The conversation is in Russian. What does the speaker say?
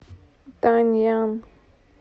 даньян